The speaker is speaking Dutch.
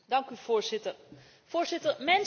Mensen zijn slimmer dan hekken.